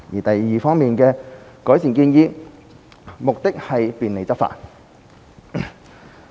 第二方面的改善建議，目的是便利執法。